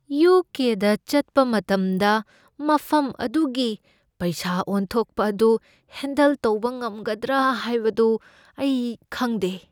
U. K. ꯗ ꯆꯠꯄ ꯃꯇꯝꯗ ꯃꯐꯝ ꯑꯗꯨꯒꯤ ꯄꯩꯁꯥ ꯑꯣꯟꯊꯣꯛꯄ ꯑꯗꯨ ꯍꯦꯟꯗꯜ ꯇꯧꯕ ꯉꯝꯒꯗ꯭ꯔꯥ ꯍꯥꯏꯕꯗꯨ ꯑꯩ ꯈꯪꯗꯦ꯫